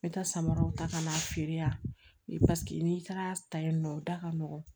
N bɛ taa samaraw ta ka na feere yan n'i taara ta yen nɔ o da ka nɔgɔn